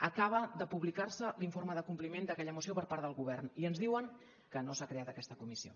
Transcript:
acaba de publicar se l’informe de compliment d’aquella moció per part del govern i ens diuen que no s’ha creat aquesta comissió